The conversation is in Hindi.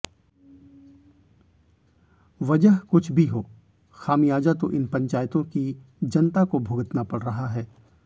वजह कुछ भी हो खामियाजा तो इन पंचायतों की जनता को भुगतना पड़ रहा है